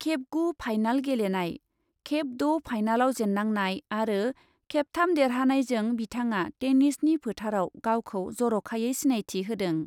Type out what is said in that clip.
खेब गु फाइनाल गेलेनाय, खेब द' फाइनालाव जेन्नांनाय आरो खेबथाम देरहानायजों बिथाङा टेनिसनि फोथारआव गावखौ जर'खायै सिनायथि होदों।